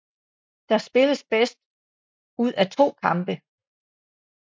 Der spilles bedst ud af to kampe